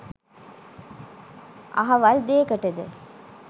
අහවල් දේකටද?